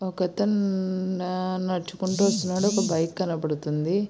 ఒకతను నడుచుకుంటూ వస్తున్నాడు ఒక బైక్ కనబడుతుంది.